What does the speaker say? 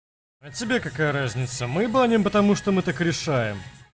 а тебе какая разница мы баним потому что мы так решаем